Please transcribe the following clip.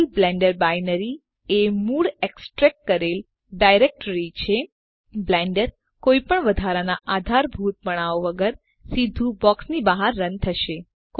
આપેલ blender binary એ મૂળ એક્સટ્રેક્ટ કરેલ ડાયરેક્ટ્રી છે બ્લેન્ડર કોઈપણ વધારનાં આધારભૂતપણાઓ વગર સીધું બોક્સની બહાર રન થશે